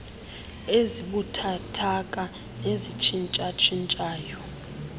ezibuthathaka nezitshintsha tshintshayo